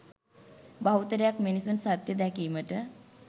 බහුතරයක් මිනිසුන් සත්‍ය දැකීමට